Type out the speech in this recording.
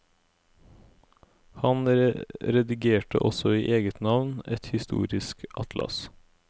Han redigerte også i eget navn et historisk atlas.